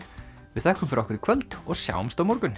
við þökkum fyrir okkur í kvöld og sjáumst á morgun